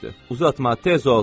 Uzatma, tez ol!